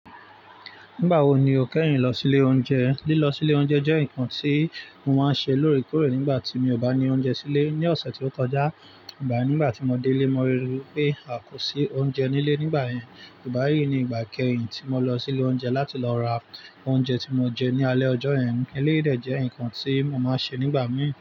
Nígbà wo ni o kẹ́yin lọ sí ilé oúnjẹ? Lílọ sí ilé oúnjẹ jẹ́ nǹkan tí mo máa ń ṣe lóòrèkóòrè nígbà tí mi ò bá ní oúnjẹ sílé. Ni ọ̀sẹ̀ tí ó kọjá, ìgbà nígbà tí mo dé lé, mo ríi pé a kò sí oúnjẹ nílé nígbà yẹn. Ìgbá yí ni ìgbà kẹ́yin tí mo lọ sí ilé oúnjẹ láti lọ ra oúnjẹ tí mo jẹ ní alẹ́ ọjọ́ yẹn. Eléyii dè jẹ́ nǹkan tí mo máa ń ṣe nígbà mìí n.